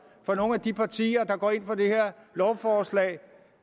for nogle af de partier der går ind for det her lovforslag